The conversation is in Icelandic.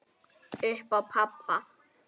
Upp á pabba.